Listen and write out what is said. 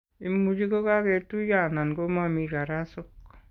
Imuch kokaketuiyo anan ko momii karasok.